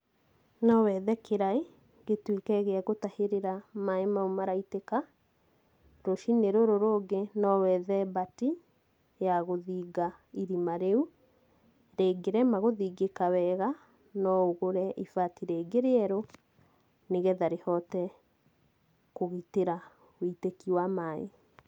No wethe kĩraĩ, gĩtuĩke gĩa gũtahĩrĩra maaĩ mau maraitĩka, rũciinĩ rũrũ rũngĩ no wethe mbati, ya gũthinga irima rĩu, rĩngĩrema gũthingĩka wega, no ũgũre ibati rĩngĩ rĩerũ, nĩgetha rĩhote kũgitĩra wũitĩki wa maaĩ.